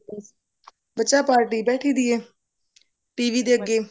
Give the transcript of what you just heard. ਬੱਚਾ party ਬੈਠੀ ਦੀ ਹੈ TV ਦੇ ਅੱਗੇ